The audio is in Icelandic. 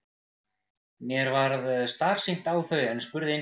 Mér varð starsýnt á þau en spurði einskis.